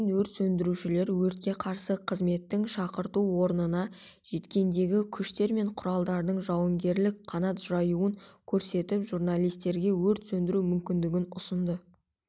кейін өрт сөндірушілер өртке қарсы қызметтің шақырту орнына жеткендегі күштер мен құралдардың жауынгерлік қанат жаюын көрсетіп журналистерге өрт сөндіру мүмкіндігін ұсынды